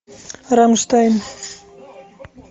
рамштайн